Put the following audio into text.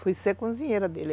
Fui ser cozinheira dele.